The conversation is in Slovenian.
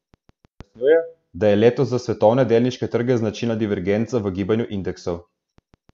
Pojasnjuje, da je letos za svetovne delniške trge značilna divergenca v gibanju indeksov.